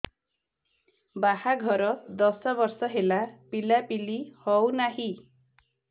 ବାହାଘର ଦଶ ବର୍ଷ ହେଲା ପିଲାପିଲି ହଉନାହି